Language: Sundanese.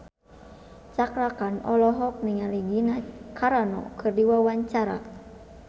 Cakra Khan olohok ningali Gina Carano keur diwawancara